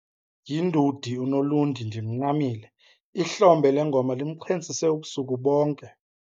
Yindudi uNolundi ndimncamile, ihlombe lengoma limxhentsise ubusuku bonke.